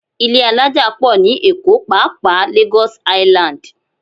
Ilé alájà pọ̀ ní Èkó pàápàá Lagos Island